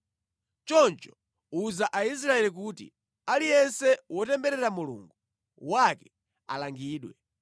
Choncho uza Aisraeli kuti, ‘Aliyense wotemberera Mulungu wake alangidwe.